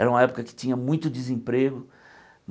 Era uma época que tinha muito desemprego.